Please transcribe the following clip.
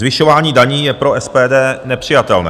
Zvyšování daní je pro SPD nepřijatelné.